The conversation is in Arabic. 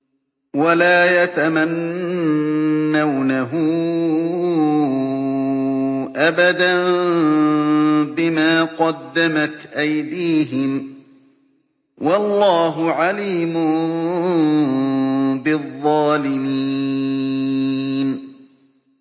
وَلَا يَتَمَنَّوْنَهُ أَبَدًا بِمَا قَدَّمَتْ أَيْدِيهِمْ ۚ وَاللَّهُ عَلِيمٌ بِالظَّالِمِينَ